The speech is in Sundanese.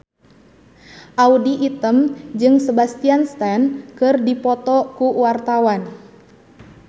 Audy Item jeung Sebastian Stan keur dipoto ku wartawan